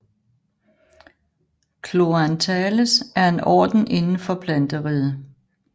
Chloranthales er en orden inden for planteriget